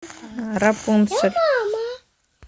рапунцель